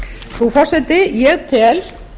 frú forseti ég tel